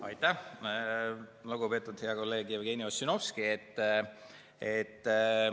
Aitäh, lugupeetud hea kolleeg Jevgeni Ossinovski!